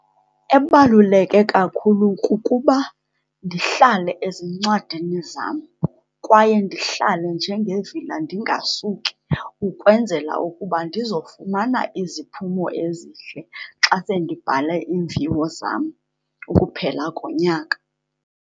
Ebaluleke kakhulu kukuba ndihlale ezincwadini zam, kwaye ndihlale njengevila ndingasuki ukwenzela ukuba ndiza kufumana iziphumo ezihle xa sendibhale iimviwo zam ukuphela konyaka.